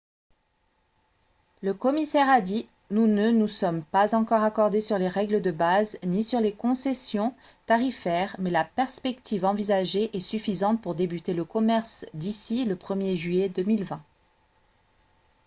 le commissaire a dit :« nous ne nous sommes pas encore accordés sur les règles de base ni sur les concessions tarifaires mais la perspective envisagée est suffisante pour débuter le commerce d'ici le 1er juillet 2020 »